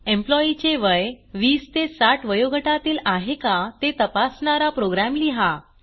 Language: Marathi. एम्प्लॉई चे वय 20 ते 60 वयोगटातील आहे का ते तपासणारा प्रोग्रॅम लिहा